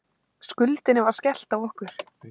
Skuldinni var skellt á okkur.